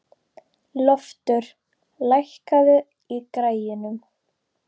Loftur, lækkaðu í græjunum.